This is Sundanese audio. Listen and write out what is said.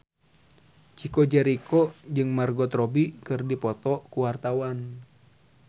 Chico Jericho jeung Margot Robbie keur dipoto ku wartawan